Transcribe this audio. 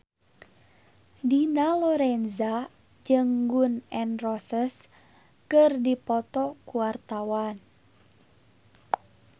Dina Lorenza jeung Gun N Roses keur dipoto ku wartawan